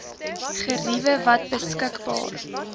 geriewe wat beskikbaar